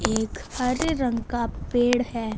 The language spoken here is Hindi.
एक हरे रंग का पेड़ है।